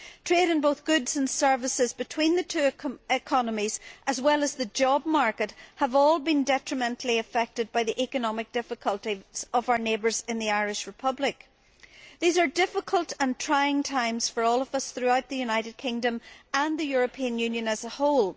Trade in both goods and services between the two economies, as well as the job market, have all been detrimentally affected by the economic difficulties of our neighbours in the Irish Republic. These are difficult and trying times for all of us throughout the United Kingdom and the European Union as a whole.